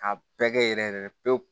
K'a bɛɛ kɛ yɛrɛ yɛrɛ pewu